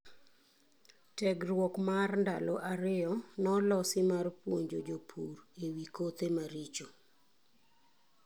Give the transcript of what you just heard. Tiegruok mar ndalo ariyo nolosi mar puonjo jopur e wi kothe maricho.